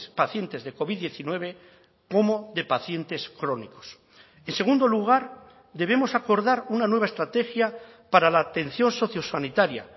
pacientes de covid diecinueve como de pacientes crónicos en segundo lugar debemos acordar una nueva estrategia para la atención sociosanitaria